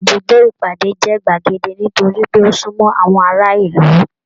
Ibùdó ìpàdé jẹ gbagedé nitori pé o sunmọ àwọn ará ìlú.